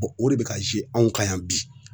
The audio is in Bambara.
mɛ o de be ka ze anw kan yan bi